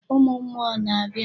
Ụmụ mmụọ na-abịa.